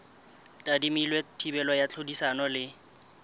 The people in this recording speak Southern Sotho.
tadimilwe thibelo ya tlhodisano le